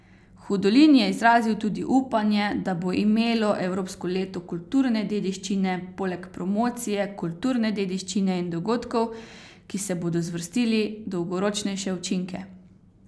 Hudolin je izrazil tudi upanje, da bo imelo Evropsko leto kulturne dediščine poleg promocije kulturne dediščine in dogodkov, ki se bodo zvrstili, dolgoročnejše učinke.